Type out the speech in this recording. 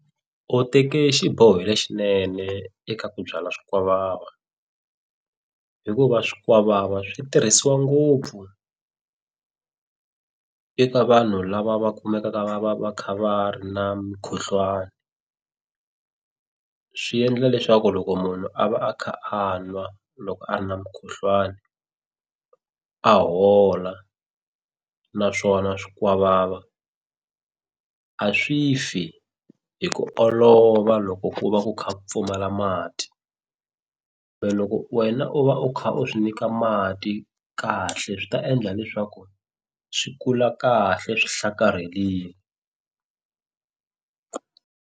U teke xiboho lexinene eka ku byala swikwavava hikuva swikwavava swi tirhisiwa ngopfu eka vanhu lava va kumekaka va va va kha va ri na mukhuhlwani swi endla leswaku loko munhu a va a kha a nwa loko a ri na mukhuhlwani a hola naswona swikwavava a swi fi hi ku olova loko ku va ku kha pfumala mati we loko wena u va u kha u swi nyika mati kahle swi ta endla leswaku swi kula kahle swi hlakarhelini.